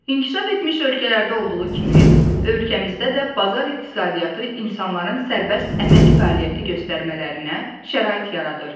İnkişaf etmiş ölkələrdə olduğu kimi, ölkəmizdə də bazar iqtisadiyyatı insanların sərbəst əmək fəaliyyəti göstərmələrinə şərait yaradır.